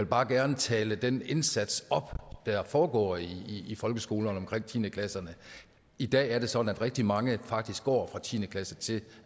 bare gerne tale den indsats op der foregår i i folkeskolerne omkring tiende klasserne i dag er det sådan at rigtig mange faktisk går fra tiende klasse til